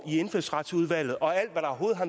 i indfødsretsudvalget og alt